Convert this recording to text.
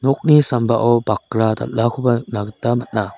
nokni sambao bakra dal·akoba nikna gita man·a.